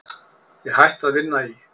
Ég hætti að vinna í